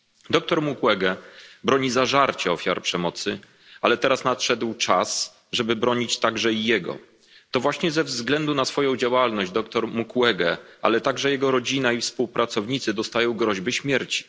Dr Mukwege zażarcie broni ofiar przemocy, ale teraz nadszedł czas, żeby bronić także i jego. To właśnie ze względu na swoją działalność dr Mukwege, ale także jego rodzina i współpracownicy otrzymują groźby śmierci.